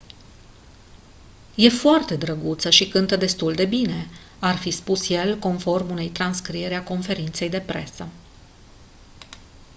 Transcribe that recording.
e foarte drăguță și cântă destul de bine ar fi spus el conform unei transcrieri a conferinței de presă